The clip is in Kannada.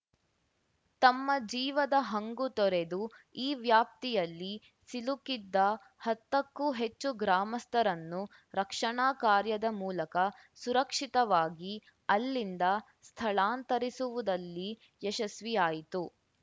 ತಮ್ಮ ಜೀವದ ಹಂಗು ತೊರೆದು ಈ ವ್ಯಾಪ್ತಿಯಲ್ಲಿ ಸಿಲುಕಿದ್ದ ಹತ್ತಕ್ಕೂ ಹೆಚ್ಚು ಗ್ರಾಮಸ್ಥರನ್ನು ರಕ್ಷಣಾ ಕಾರ್ಯದ ಮೂಲಕ ಸುರಕ್ಷಿತವಾಗಿ ಅಲ್ಲಿಂದ ಸ್ಥಳಾಂತರಿಸುವುದಲ್ಲಿ ಯಶಸ್ವಿಯಾಯಿತು